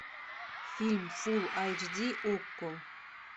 фильм фулл айч ди окко